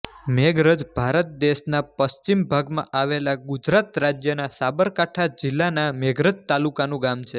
મેઘરજ ભારત દેશના પશ્ચિમ ભાગમાં આવેલા ગુજરાત રાજ્યના સાબરકાંઠા જિલ્લાના મેઘરજ તાલુકાનું ગામ છે